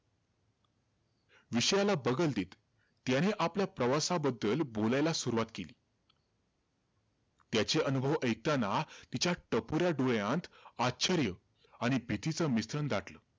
विषयाला बगल देत, त्याने आपल्या प्रवासाबद्दल बोलायला सुरवात केली. त्याचे अनुभव ऐकताना, तिच्या टपोऱ्या डोळ्यात आश्चर्य आणि भीतीचं मिश्रण दाटलं.